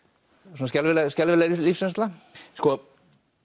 svona skelfileg skelfileg lífsreynsla sko